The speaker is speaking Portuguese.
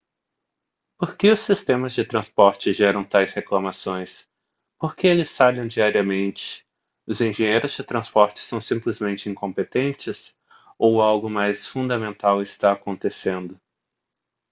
por que os sistemas de transporte geram tais reclamações por que eles falham diariamente os engenheiros de transporte são simplesmente incompetentes ou algo mais fundamental está acontecendo